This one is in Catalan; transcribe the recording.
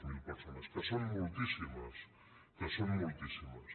zero persones que són moltíssimes que són moltíssimes